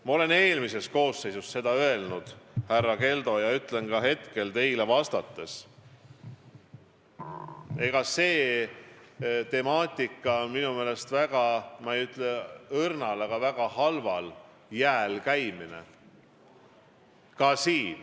Ma olen eelmises koosseisus seda öelnud, härra Keldo, ja ütlen ka hetkel teile vastates, et see temaatika on minu meelest väga halval jääl käimine .